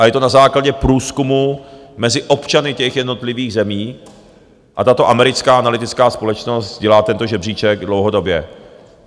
A je to na základě průzkumu mezi občany těch jednotlivých zemí a tato americká analytická společnost dělá tento žebříček dlouhodobě.